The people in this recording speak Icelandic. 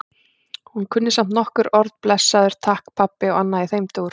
Hún kunni samt nokkur orð- blessaður, takk, pabbi og annað í þeim dúr.